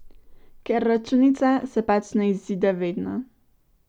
Ker računica se pač ne izide vedno.